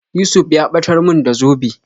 Yusuf ya ɓatar mun da zobe